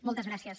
moltes gràcies